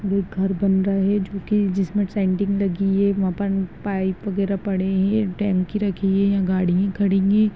ये एक घर बन रहा है जोकि जिसमें लगी है यहाँ पर पाइप वगैरह पड़े है टंकी रखी है यहाँ गाड़ियां खड़ी हैं।